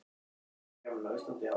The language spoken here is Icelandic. Hversu mikið má ein bók bera?